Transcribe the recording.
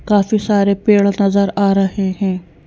काफी सारे पेड़ नजर आ रहे हैं।